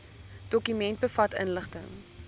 dokument bevat inligting